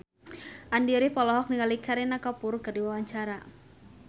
Andy rif olohok ningali Kareena Kapoor keur diwawancara